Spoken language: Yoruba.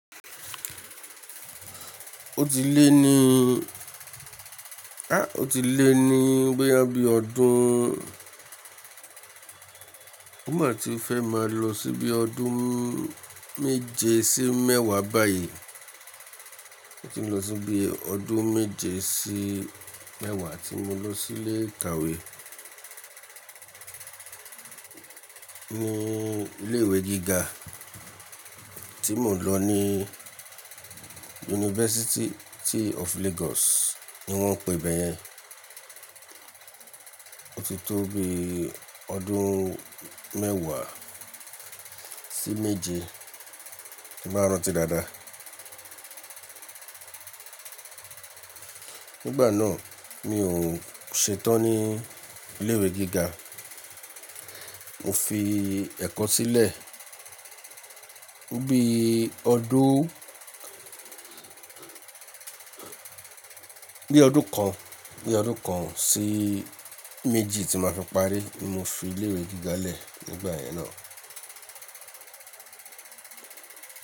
Ó ti lé ní, a ó ti lé ní bóyá bí ọdún, ó mà ti fẹ́ máa lọ síbi ọdún méje sí mẹ́wàá báyìí. Ó ti n lọ síbi ọdún méje sí mẹ́wàá tí mo lọ sílé ìkàwé. Ni ilé ìwé gíga tí mo ń lọ ní University of Lagos ni wọ́n n pe ibẹ̀ yẹn. Ó ti tó bí ọdún mẹ́wàá sí méje, tí bá rántí dáadáa. Nígbà náà, mi ò ṣetán ní ilé ìwé gíga. Mo fi ẹ̀kọ́ sílẹ̀ ní bíi ọdún, bí ọdún kan, bí ọdún kan sí méjì tí maa fi parí ni mo fi ilé ìwé gíga lẹ̀ nígbà yẹn náà.